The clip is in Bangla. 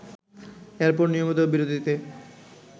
এরপর নিয়মিত বিরতিতে